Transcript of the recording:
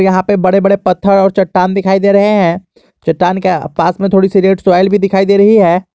यहां पे बड़े बड़े पत्थर और चट्टान दिखाई दे रहे हैं चट्टान के पास में थोड़ी सी रेड स्वाइल भी दिखाई दे रही है।